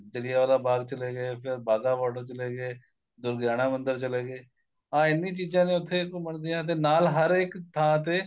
ਜਲਿਆਂ ਵਾਲੇ ਬਾਗ ਚਲੇ ਗਏ ਫੇਰ ਬਾਗਾ border ਚਲੇ ਗਏ ਦੁਰਗਿਆਣਾ ਮੰਦਰ ਚਲੇ ਗੇ ਆ ਇੰਨੀ ਚੀਜ਼ਾਂ ਨੇ ਉੱਥੇ ਘੁੰਮਣ ਦੀਆਂ ਤੇ ਨਾਲ ਹਰ ਇੱਕ ਥਾਂ ਤੇ